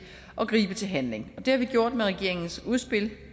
at gribe til handling og det har vi gjort med regeringens udspil